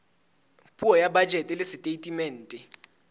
puo ya bajete le setatemente